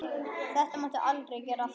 Þetta máttu aldrei gera aftur!